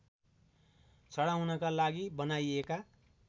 चढाउनका लागि बनाइएका